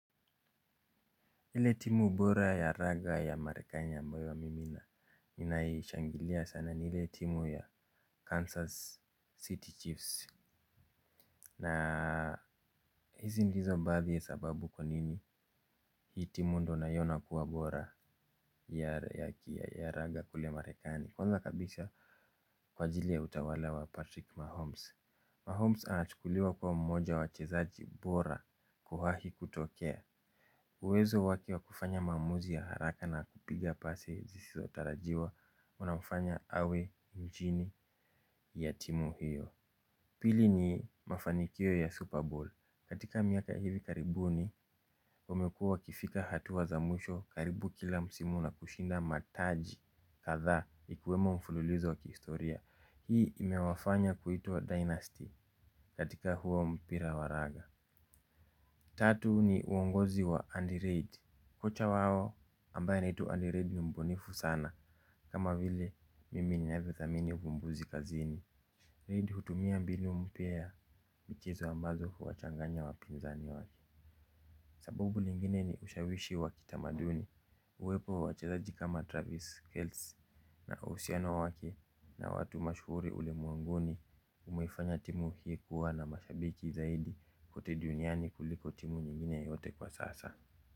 Ile timu bora ya raga ya marekani ambayo mimi na, ninaishangilia sana ni ile timu ya Kansas City Chiefs. Na hizi ndizo baadhi sababu kwa nini hii timu ndio naiona kuwa bora. Ya raga kule marekani. Kwanza kabisa kwa ajili ya utawala wa Patrick Mahomes. Mahomes anachukuliwa kuwa mmoja wachezaji bora kuwahi kutokea. Uwezo wake wa kufanya maamuzi ya haraka na kupiga pasi zisizo tarajiwa unafanya awe injini ya timu hiyo. Pili ni mafanikio ya Super Bowl. Katika miaka hivi karibuni wamekua wakifika hatua za mwisho karibu kila msimu na kushinda mataji kadhaa ikiwemo mfululizo wa kihistoria. Hii imewafanya kuitwa Dynasty katika huo mpira wa raga. Tatu ni uongozi wa Andirade. Kocha wao ambaye anaitwa Andirade ni mbunifu sana kama vile mimi ninavyo dhamini uvumbuzi kazini Redi hutumia mbinu mpya ya mchezo ambazo huwa changanya wapinzani wake. Sababu lingine ni ushawishi wa kitamaduni. Uwepo wa wachezaji kama Travis Kells na uhusiano wake na watu mashuhuri ulimwenguni. Umefanya timu hii kuwa na mashabiki zaidi kote duniani kuliko timu nyingine yote kwa sasa.